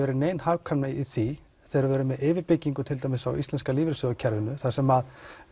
nein hagkvæmni í því þegar við erum með yfirbyggingu tildæmis á íslenska lífeyrissjóðskerfinu þar sem